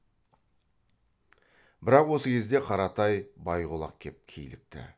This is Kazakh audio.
бірақ осы кезде қаратай байғұлақ кеп килікті